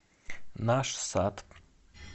наш сад